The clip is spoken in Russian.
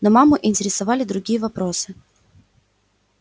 но маму интересовали другие вопросы